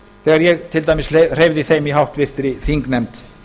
þegar ég til dæmis hreyfði þeim í háttvirtri þingnefnd